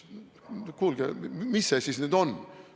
No kuulge, mis see siis nüüd on?